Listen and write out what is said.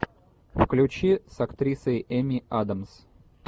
включи с актрисой эми адамс